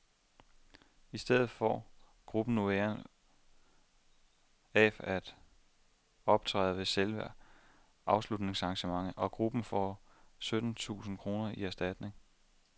I stedet får gruppen nu æren af at optræde ved selve afslutningsarrangementet, og gruppen får sytten tusinde kroner i erstatning.